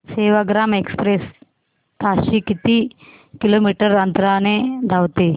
Sevagram express ताशी किती kilometre अंतराने धावते